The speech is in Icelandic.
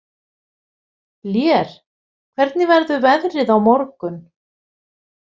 Lér, hvernig verður veðrið á morgun?